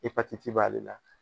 Ipatiti b'ale la.